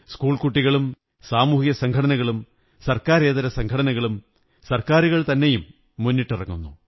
സ്കൂള്കുടട്ടികളും സാമൂഹിക സംഘടനകളും സര്ക്കാ രേതര സംഘടനകളും സര്ക്കാനരുകള്തറന്നെയും മുന്നിട്ടിറങ്ങുന്നു